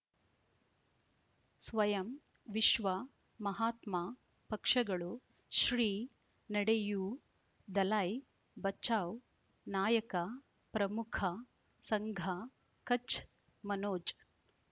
ಸ್ವಯಂ ವಿಶ್ವ ಮಹಾತ್ಮ ಪಕ್ಷಗಳು ಶ್ರೀ ನಡೆಯೂ ದಲೈ ಬಚೌ ನಾಯಕ ಪ್ರಮುಖ ಸಂಘ ಕಚ್ ಮನೋಜ್